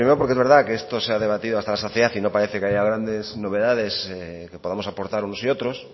primero porque es verdad que esto se ha debatido hasta la saciedad y no parece que haya grandes novedades que podamos aportar unos y otros